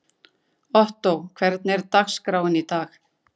Ottó, hvernig er dagskráin í dag?